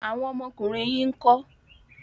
Awọn ọmọkùnrin yín ńkọ́?